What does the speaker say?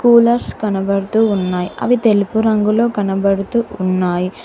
Coolers కనబడుతూ ఉన్నాయి అవి తెలుపు రంగులో కనబడుతున్నాయి.